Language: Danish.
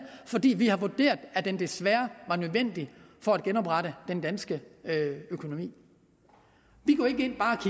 fordi vi har vurderet at den desværre var nødvendig for at genoprette den danske økonomi